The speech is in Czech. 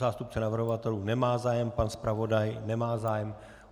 Zástupce navrhovatelů nemá zájem, pan zpravodaj nemá zájem.